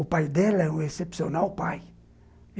O pai dela é um excepcional pai.